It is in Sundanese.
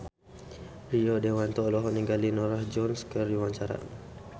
Rio Dewanto olohok ningali Norah Jones keur diwawancara